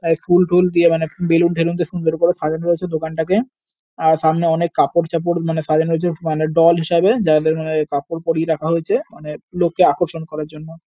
তাই ফুলটুল দিতে মানে বেলুন টেলুন দিয়ে সুন্দর করে সাজানো রয়েছে দোকানটাকে। আর সামনে অনেক কাপড় চাপড় মানে সাজানো হয়েছে মানে ডল হিসাবে। যাদের মানে কাপড় পড়িয়ে রাখা হয়েছে মানে লোককে আকর্ষণ করার জন্য।